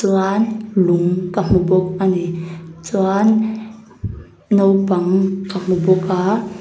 uan lung ka hmu bawk ani chuan naupang ka hmu bawk a.